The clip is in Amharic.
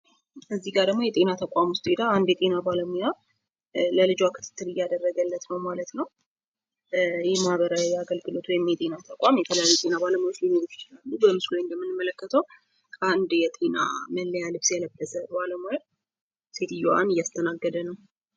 እዚህ ጋ ደሞ አንድ የጤና ተቋም ውስጥ ሄዳ አንድ የጤና ባለሙያ ለልጇ ክትትል እያደረገለት ነው ማለት ነው። ይህ ማህበራዊ አገልግሎት ወይም የጤና ተቋም የተለያዩ ባለሙያዎች ሊኖሩት ይችላሉ። በምስሉ ላይ እንደምንመለከተው አንድ የጤና መለያ ልብስ የለበሰ ባለሙያ ሴትዮዋን እያስተናገደ ነው።